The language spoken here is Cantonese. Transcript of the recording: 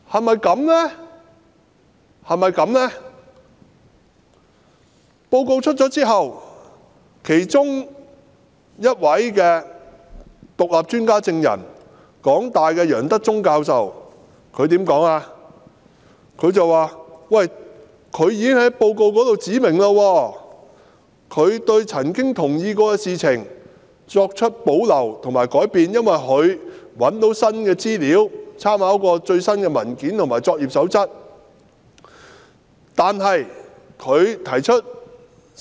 報告公布後，其中一位獨立專家證人香港大學的楊德忠教授表示，他已經在報告中指明，對曾經認同的事項提出保留或更改，因為他找到新的資料和參考了最新的文件及作業守則。